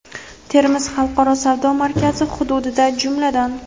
Termiz xalqaro savdo markazi hududida, jumladan:.